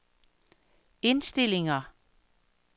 indstillinger